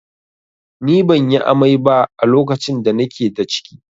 Ni ban yi amai ba a lokacin da na ke da ciki